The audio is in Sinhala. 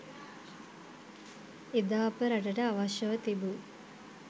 එදා අප රටට අවශ්‍යව තිබූ